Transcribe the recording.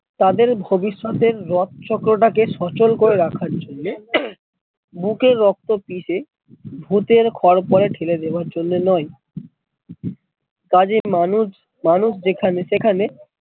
তাদের ভবিষ্যৎ এর রথ চক্রটাকে সচল করে রাখার জন্যে বুকের রক্ত পিষে ভুতের খোরপোরে ঠেলে দেয়ার জন্যে নয় তা যে মানুষ মানুষ যেখানে সেখানে